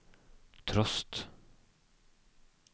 trost